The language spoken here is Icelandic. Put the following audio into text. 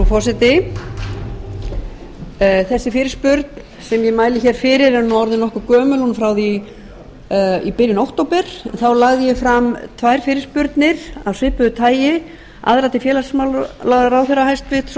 forseti þessi fyrirspurn sem ég mæli fyrir er orðin nokkuð gömul hún er frá því í byrjun október þá lagði ég fram tvær fyrirspurnir af svipuðu tagi aðra til hæstvirts félagsmálaráðherra